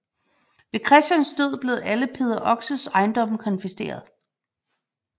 Ved Christians død blev alle Peder Oxes ejendomme konfiskeret